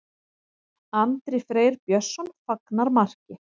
Andri Freyr Björnsson fagnar marki.